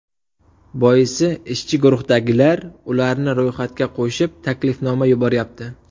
Boisi, ishchi guruhdagilar ularni ro‘yxatga qo‘shib, taklifnoma yuboryapti.